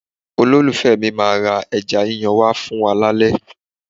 Olólùfẹ́ mi máa ra ẹja yíyan wá fún wa lálẹ́.